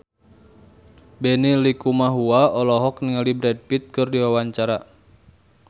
Benny Likumahua olohok ningali Brad Pitt keur diwawancara